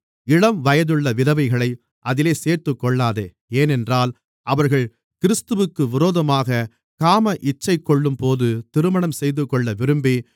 இளம்வயதுள்ள விதவைகளை அதிலே சேர்த்துக்கொள்ளாதே ஏனென்றால் அவர்கள் கிறிஸ்துவிற்கு விரோதமாக காமஇச்சைகொள்ளும்போது திருமணம் செய்துகொள்ள விரும்பி